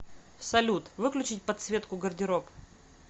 салют выключить подсветку гардероб